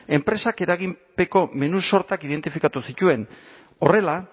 enpresak eraginpeko menu sortak identifikatu zituen horrela